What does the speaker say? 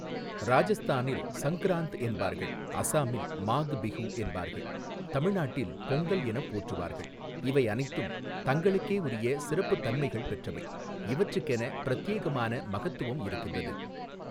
ராஜஸ்தானில் சங்க்ராந்த் என்பார்கள், அசாமில் மாக் பிஹூ என்பார்கள், தமிழ்நாட்டில் பொங்கல் எனப் போற்றுவார்கள் இவை அனைத்தும் தங்களுக்கே உரிய சிறப்புத்தன்மைகள் பெற்றவை, இவற்றுக்கென பிரத்யேகமான மகத்துவம் இருக்கின்றது.